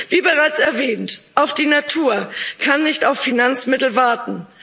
Wie bereits erwähnt Auch die Natur kann nicht auf Finanzmittel warten.